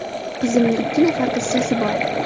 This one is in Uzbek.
Qizimni ikki nafar qizchasi bor.